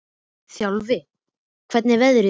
Þjálfi, hvernig er veðrið úti?